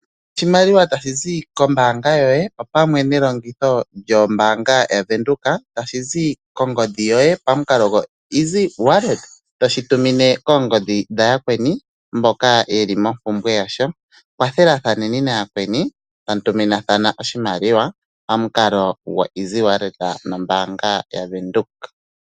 Oshimaliwa tashi zi kombanga yoye opamwe nelongitho lyombanga yaVenduka tashi zi kongodhi yoye pamukalo gwo EasyWallet toshi tumine koongodhi dha yakweni mboka yeli mompumbweya yasho. Kathela thaneni nayakweni tamu tuminathana oshimaliwa pamukalo goEsyWallet nombanga yaVenduka.